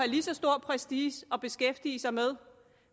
lige så stor prestige at beskæftige sig med